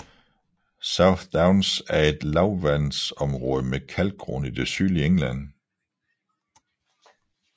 South Downs er et lavlandsområde med kalkgrund i det sydlige England